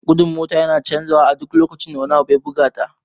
Gudun mota yana canja wa a duk lokacin da wani abu ya buga ta